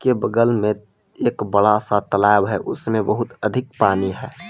ये बगल मे एक बड़ा सा तालाब है उसमे बहुत अधिक पानी है।